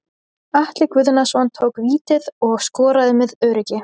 Atli Guðnason tók vítið og skoraði með öruggi.